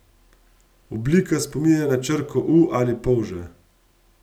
Oblika spominja na črko u ali polža.